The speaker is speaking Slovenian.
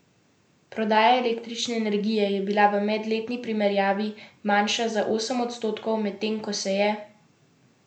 Prodaja električne energije je bila v medletni primerjavi manjša za osem odstotkov, medtem ko se je prodaja plina povečala za pet odstotkov.